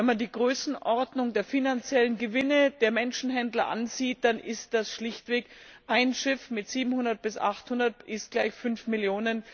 Wenn man die Größenordnung der finanziellen Gewinne der Menschenhändler ansieht, dann ist das schlichtweg ein Schiff mit 700 bis 800 Menschen 5 Mio.